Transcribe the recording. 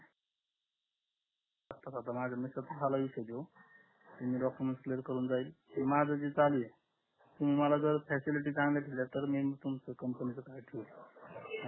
माझ्या मिसेसच झाल करून डॉक्युमेंट क्लिअर करून जाईल माझ जे चालू आहे तुम्ही मला जर फॅसिलिटी चांगल्या दिल्या तर मी तुमच्या कंपनीच ठेवील नाही तर मी